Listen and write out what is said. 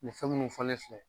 Nin fɛn munnu fɔlen filɛ